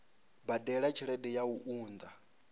badela tshelede ya u unḓa